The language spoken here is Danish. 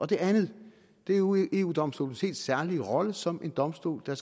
det andet er jo eu domstolens helt særlige rolle som en domstol der